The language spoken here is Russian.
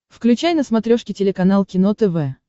включай на смотрешке телеканал кино тв